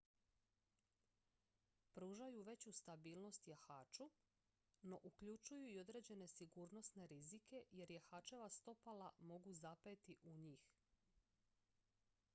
pružaju veću stabilnost jahaču no uključuju i određene sigurnosne rizike jer jahačeva stopala mogu zapeti u njih